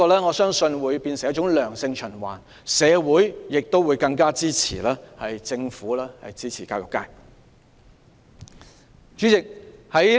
我相信這會變成一個良性循環，社會亦會更加支持政府支持教育界。